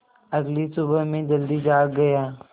अगली सुबह मैं जल्दी जाग गया